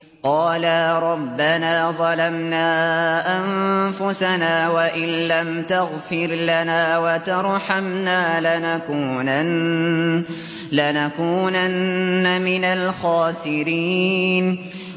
قَالَا رَبَّنَا ظَلَمْنَا أَنفُسَنَا وَإِن لَّمْ تَغْفِرْ لَنَا وَتَرْحَمْنَا لَنَكُونَنَّ مِنَ الْخَاسِرِينَ